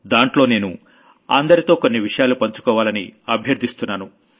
దాంట్లో నేను అందరితో కొన్ని విషయాలు పంచుకోవాలని అభ్యర్థిస్తున్నాను